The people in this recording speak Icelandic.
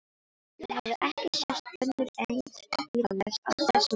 Það hafði ekki sést önnur eins bílalest á þessum slóðum.